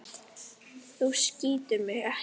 Þú skýtur mig ekki.